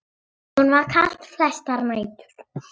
Honum var kalt flestar nætur.